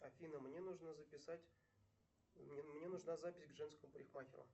афина мне нужно записать мне нужна запись к женскому парикмахеру